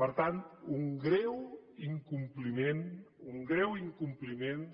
per tant un greu incompliment un greu incompliment